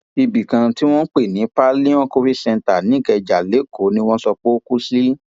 ibì kan tí wọn ń pè ní paelon covid centre nìkẹjà lẹkọọ ni wọn sọ pé ó kú sí